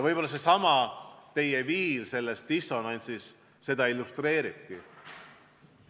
Võib-olla seesama viil teie kõnest, mis käis dissonantsi kohta, seda illustreeribki.